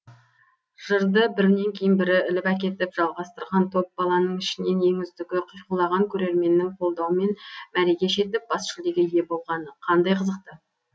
жырды бірінен кейін бірі іліп әкетіп жалғастырған топ баланың ішінен ең үздігі қиқулаған көрерменнің қолдауымен мәреге жетіп бас жүлдеге ие болғаны қандай қызықты